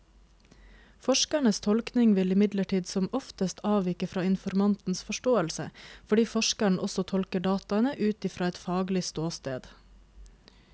Forskerens tolkning vil imidlertid som oftest avvike fra informantens forståelse, fordi forskeren også tolker dataene ut fra et faglig ståsted.